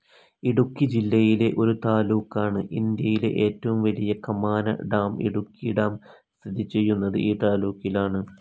ഇടുക്കി ജില്ലയിലെ ഒരു താലൂക്കാണ്, ഇന്ത്യയിലെ ഏറ്റവും വലിയ കമാന ഡാം ഇടുക്കി ഡാം സ്ഥിതി ചെയ്യുന്നത് ഈ താലൂക്കിലാണ്.